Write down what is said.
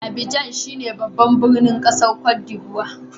Abidjan shine babban birnin kasan Cote D'Ivoire.